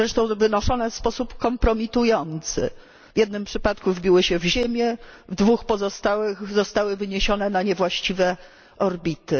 Zresztą wynoszone w sposób kompromitujący, w jednym przypadku wbiły się w ziemię, w dwóch pozostałych zostały wyniesione na niewłaściwe orbity.